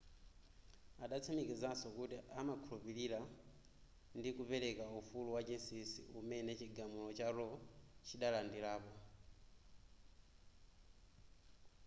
adatsimikizaso kuti amakhulupilira ndi kupereka ufulu wachinsisi umene chigamulo cha roe chidadalirapo